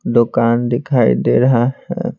दुकान दिखाई दे रहा है।